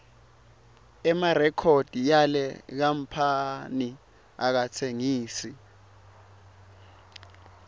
emarikhodi yale kamphani akatsengisi